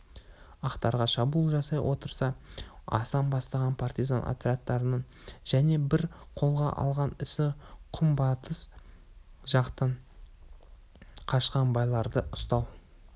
ақтарға шабуыл жасай отыра асан бастаған партизан отрядының және бір қолға алған ісі күнбатыс жақтан қашқан байларды ұстау